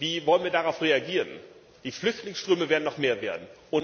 Wie wollen wir darauf reagieren? Die Flüchtlingsströme werden noch mehr werden.